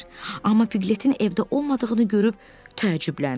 Amma Piqletin evdə olmadığını görüb təəccübləndi.